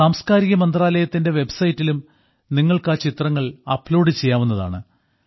സാംസ്കാരിക മന്ത്രാലയത്തിന്റെ വെബ്സൈറ്റിലും നിങ്ങൾക്ക് ആ ചിത്രങ്ങൾ അപ്ലോഡ് ചെയ്യാവുന്നതാണ്